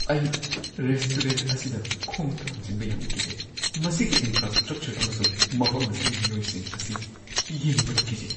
ꯑꯩ ꯔꯦꯁꯇꯨꯔꯦꯟꯠ ꯑꯁꯤꯗ ꯈꯣꯡ ꯊꯥꯡꯖꯤꯟꯕ ꯌꯥꯝꯅ ꯀꯤꯖꯩ꯫ ꯃꯁꯤꯒꯤ ꯏꯟꯐ꯭ꯔꯥꯁ꯭ꯇ꯭ꯔꯛꯆꯔ ꯑꯃꯁꯨꯡ ꯃꯐꯝ ꯑꯁꯤꯒꯤ ꯃꯤꯑꯣꯏꯁꯤꯡ ꯑꯁꯤ ꯌꯦꯡꯕꯗ ꯀꯤꯖꯩ꯫